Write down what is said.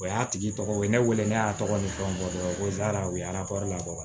O y'a tigi tɔgɔ ye n'i weele ne y'a tɔgɔ ni fɛnw bɔ dɔrɔn ko u ye labɔ